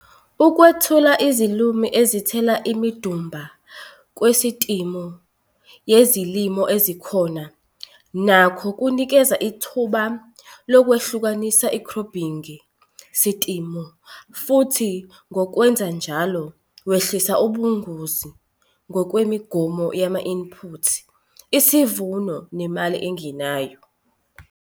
Ukwethula izilimo ezithela imidumba kusistimu yezilimo ezikhona nakho kunikeza ithuba lokwehlukanisa ikhrophingi sistimu futhi ngokwenze njalo, wehlisa ubungozi ngokwemigomo yama-input, isivuno nemali engenayo.